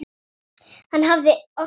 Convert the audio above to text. Hann hafði ort það.